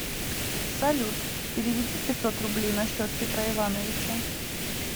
салют переведи пятьсот рублей на счет петра ивановича